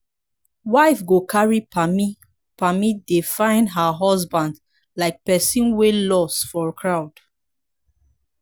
wife go carry pammy pammy dey find her husband like person wey loss for crowd